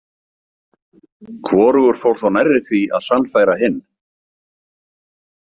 Hvorugur fór þó nærri því að sannfæra hinn.